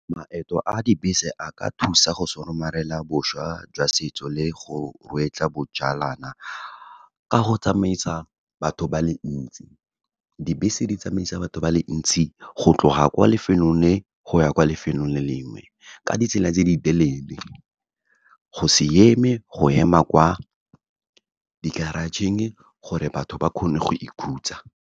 Maeto a dibese a ka thusa go somarela boswa jwa setso le go bojalana, ka go tsamaisa batho ba le ntsi. Dibese di tsamaisa batho ba le ntsi, go tloga kwa lefelong le, go ya kwa lefelong le lengwe ka ditsela tse di telele, go se eme, go ema kwa di-garage-ing gore batho ba kgone go ikhutsa.